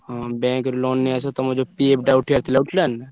ହଁ bank ରୁ loan ନେଇଆସିବ। ତମର ଯୋଉ PF ଟା ଉଠିବାର ଥିଲା ଉଠିଲାଣି ନା?